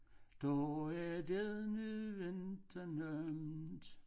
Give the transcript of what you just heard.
Da er det nu ikke nemt